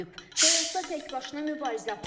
Həyatda təkbaşına mübarizə aparıb.